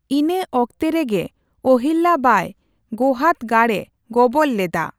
ᱤᱱᱟ ᱚᱠᱛᱮ ᱨᱮᱜᱮ ᱚᱦᱤᱞᱭᱟ ᱵᱟᱭ ᱜᱳᱦᱟᱫ ᱜᱟᱲᱼᱮ ᱜᱚᱵᱚᱞ ᱞᱮᱫᱟ ᱾